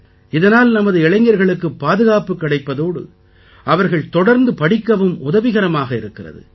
இதனால் நமது இளைஞர்களுக்குப் பாதுகாப்பு கிடைப்பதோடு அவர்கள் தொடர்ந்து படிக்கவும் உதவிகரமாக இருக்கிறது